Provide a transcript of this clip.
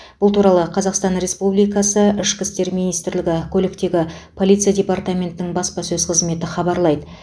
бұл туралы қазақстан республикасы ішкі істер министрлігі көліктегі полиция департаментінің баспасөз қызметі хабарлайды